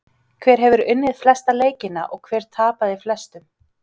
Hver hefur unnið flesta leikina og hver tapað flestum?